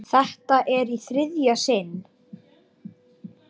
Þetta er í þriðja sinn.